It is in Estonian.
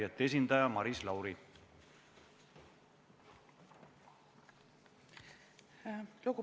Vastavalt kodu- ja töökorra seadusele on meie tänane tööpäev lõppenud ja arupärimisele vastamine jääb pooleli, selle jätkamine lükkub homsesse.